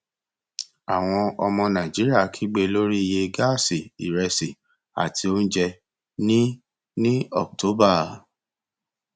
àwọn ọmọ nàìjíríà kígbe lórí iye gáàsì ìrẹsì àti oúnjẹ ní ní october